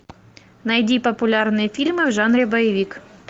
найди популярные фильмы в жанре боевик